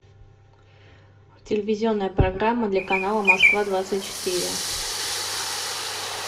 телевизионная программа для канала москва двадцать четыре